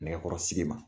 Nɛgɛkɔrɔsigi ma